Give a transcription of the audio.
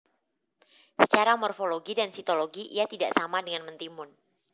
Secara morfologi dan sitologi ia tidak sama dengan mentimun